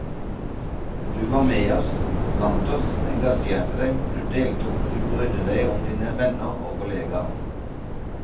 Du var med oss, blant oss, engasjerte deg, du deltok, du brydde deg om dine venner og kollegaer.